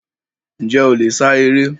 Njẹ o le sá eré?